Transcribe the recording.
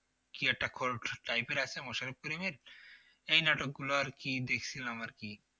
কি একটা type এর আছে মোশারফ করিমের এই নাটকগুলো আর কি দেখছিলাম আর কি